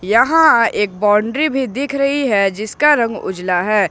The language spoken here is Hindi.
यहां एक बाउंड्री भी दिख रही है जिसका रंग उजला है।